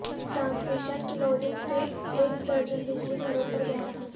transmission کی loading سے ایک درجن بجلی گھروں پر بحران